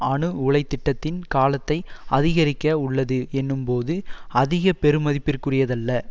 அணு உலைத்திட்டத்தின் காலத்தை அதிகரிக்க உள்ளது என்னும் போது அதிக பெறுமதிக்குரியதல்ல